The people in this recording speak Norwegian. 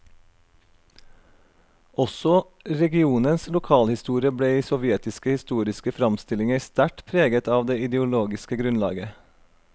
Også regionens lokalhistorie ble i sovjetiske historiske framstillinger sterkt preget av det ideologiske grunnlaget.